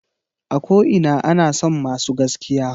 A ko ina ana son masu gaskiya.